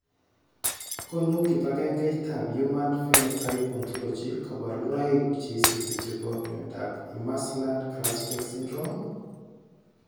Konu kibagengeitab Human Phenotype Ontology kaborunoik cheisubi chebo miondop Imerslund Grasbeck syndrome?